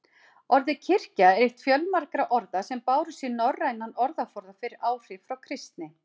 Orðið kirkja er eitt fjölmargra orða sem bárust í norrænan orðaforða fyrir áhrif frá kristni.